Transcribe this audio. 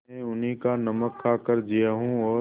मैं उन्हीं का नमक खाकर जिया हूँ और